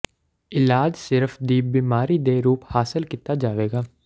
ਇਲਾਜ ਸਿਰਫ਼ ਦੀ ਬਿਮਾਰੀ ਦੇ ਰੂਪ ਹਾਸਲ ਕੀਤਾ ਜਾਵੇਗਾ